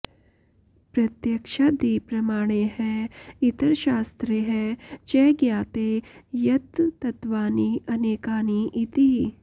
प्रत्यक्षादिप्रमाणैः इतरशास्त्रैः च ज्ञायते यत् तत्त्वानि अनेकानि इति